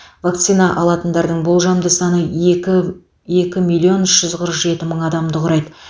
вакцина алатындардың болжамды саны екі екі миллион үш жүз қырық жеті мың адамды құрайды